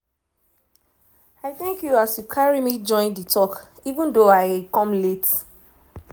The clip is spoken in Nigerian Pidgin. i thank you as you carry me join the talk even though i come late.